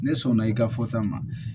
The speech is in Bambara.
Ne sɔnna i ka fɔta ma